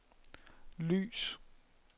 lys